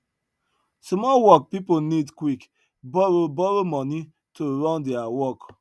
small work pipo need quick borrow borrow money to run their work